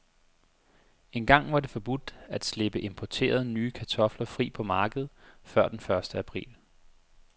Engang var det forbudt at slippe importerede, nye kartofler fri på markedet før den første april.